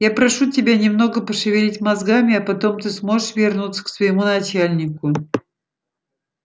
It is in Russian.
я прошу тебя немного пошевелить мозгами а потом ты сможешь вернуться к своему начальнику